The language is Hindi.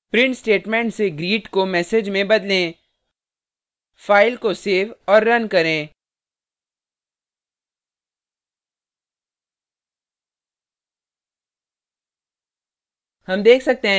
print statement से greet को message में बदले file को सेव करें और रन करें